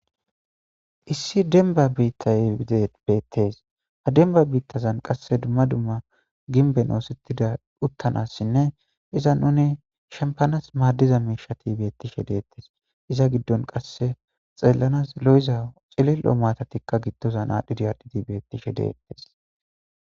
issi denba biittaye bettes ha demba biittazan qasse dumma dumma ginben oosettida uttanassinne iza nuni shempanas maaddiza miishati beettishe deettes iza giddon qasse xeellanas lo7iza cilillo maatatikka giddozan aadhidi adhidi beettishe deettes